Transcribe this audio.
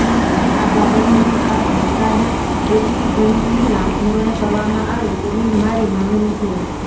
આ બાબતની તપાસ બોટાદ એપીએમસીનાં ધોરણે કરવામાં આવે તેવી મારી માંગણી છે